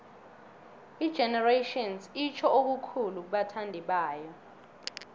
igenerations itjho okukhulu kubathandibayo